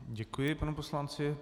Děkuji panu poslanci.